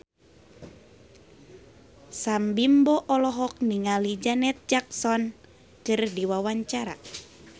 Sam Bimbo olohok ningali Janet Jackson keur diwawancara